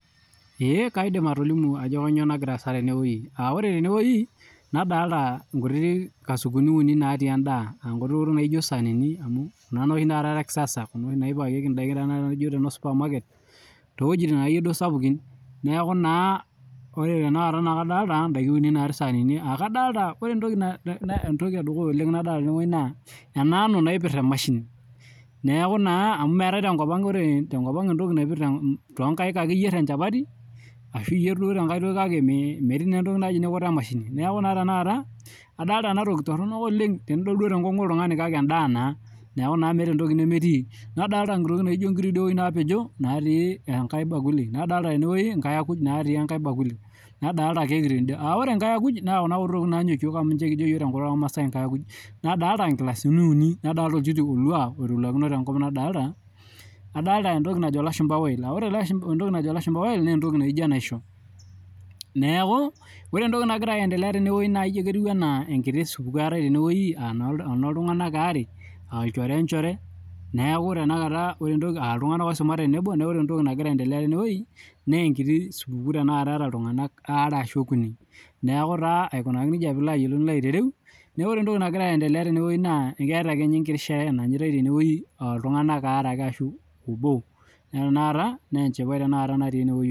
Kaidim atolimu Ajo kainyio nagira asaa tene wueji aa ore tenewuaji nadolita nkasukun uni natii endaa aa nkuti tokitin naijio sanini Kuna tokitin ee kisasa Kuna naipakiekie ndaaki naijio noo supamaket Kuna tokitin ake duake akeyie sapukin neeku kadolita ndaiki uni natii sahanini ore entoki eduya oleng nadolita tene naa ena ngano naipir emashini neeku naa amu meetae tenkop ang ore tenkop ang entoki naipirr too nkaik ake iyier enchapati ashu iyier duo tenkae toki naijio emashini neeku tanakata adolita ena toki Torono oleng tenidol tenkongu oltung'ani kake endaa naa meeta entoki nemetii nadolita nkuti tokitin naijio nkirik naapejo natii enkae bakuli nadolita tenewueji nadolita nkairakuj natii enkae bakuli[nadolita keki tenede aa ore nkairakuj naa Kuna tokitin Nanyokieo amu ninye kijo iyiok tenkutuk ormasai nkairakuj nadolita nkilasini uni nadolita oljiti olua oitoluakino adolita entoki najo elashumba wine ore entoki najo elashumba wine naa entoki naijio enaishoo neeku ore entoki nagira aendelea teene naa entoki naijio ketiu enaa enoo iltung'ana are aa ilchoreta enjore wee njoree neeku ore aa iltung'ana oisumare tenebo neeku ore entoki nagira aendelea tenewueji naa enkiti supukuu etaa iltung'ana are ashu oo Kuni neeku aikunaki nejia pilo ayiolou nilo aitareu neeku ole pilo ayiolou entoki nagira aendelea aketaa ake enkiti sherehe nanyatai iltung'ana are ashu obo neeku tanakata enchipai natii ene